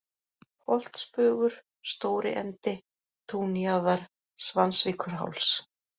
Holtsbugur, Stóriendi, Túnjaðar, Svansvíkurháls